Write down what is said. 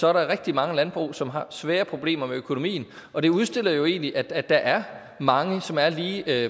er der rigtig mange landbrug som har svære problemer med økonomien og det udstiller jo egentlig at der er mange som er lige